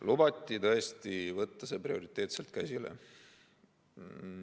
Lubati tõesti võtta see prioriteetselt käsile.